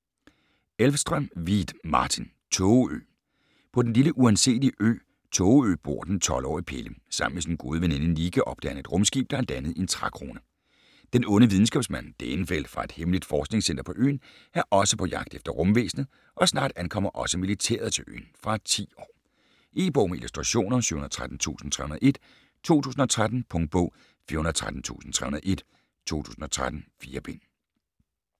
Elvstrøm-Vieth, Martin: Tågeø På den lille uanselige ø, Tågeø bor den 12-årige Pelle. Sammen med sin gode veninde Nikki opdager han et rumskib, der er landet i en trækrone. Den onde videnskabsmand, Dæhnfeldt fra et hemmeligt forskningscenter på øen er også på jagt efter rumvæsenet, og snart ankommer også militæret til øen. Fra 10 år. E-bog med illustrationer 713301 2013. Punktbog 413301 2013. 4 bind.